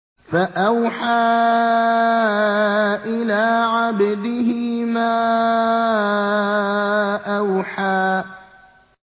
فَأَوْحَىٰ إِلَىٰ عَبْدِهِ مَا أَوْحَىٰ